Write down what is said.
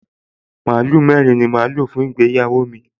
Màlúù mẹ́rin ni màá lò fún ìgbéyàwó mi